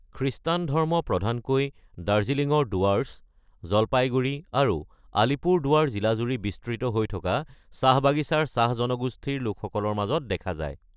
খ্ৰীষ্টান ধৰ্ম প্ৰধানকৈ দাৰ্জিলিঙৰ ডুৱাৰ্ছ, জলপাইগুৰি আৰু আলিপুৰদুৱাৰ জিলাজুৰি বিস্তৃত হৈ থকা চাহ বাগিচাৰ চাহ জনগোষ্ঠীৰ লোকসকলৰ মাজত দেখা যায়।